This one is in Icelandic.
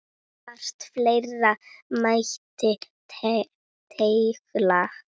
Margt fleira mætti telja.